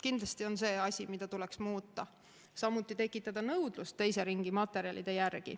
Kindlasti on see asi, mida tuleks muuta, samuti tekitada nõudlust teise ringi materjalide järele.